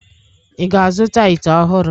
Ị ga-azụta ite ọhụrụ?